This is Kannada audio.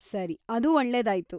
ಸರಿ, ಅದು ಒಳ್ಳೆದಾಯ್ತು.